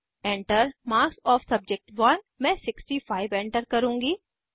Enter marks of सब्जेक्ट1 मैं 65 enter करुँगी